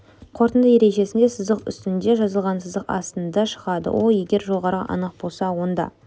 қорытынды ережесінде сызық үстінде жазылған сызық астында шығады ол егер жоғарғы анық болса онда